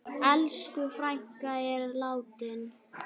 Elsku frænka er látin.